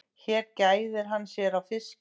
Hér gæðir hann sér á fiski.